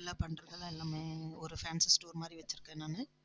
எல்லாம் பன்றது எல்லாமே எல்லாமே ஒரு fancy store மாதிரி வச்சிருக்கேன் நானு